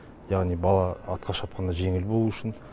яғни бала атқа шапқанда жеңіл болуы үшін